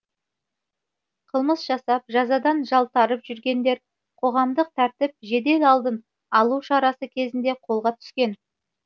қылмыс жасап жазадан жалтарып жүргендер қоғамдық тәртіп жедел алдын алу шарасы кезінде қолға түскен